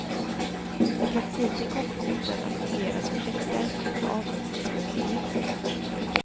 I praktiken kommer korten att fungera som checkar med avrundningsmöjlighet.